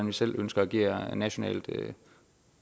vi selv ønsker at agere nationalt